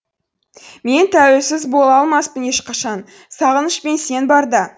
мен тәуелсіз бола алмаспын ешқашан сағыныш пен сен барда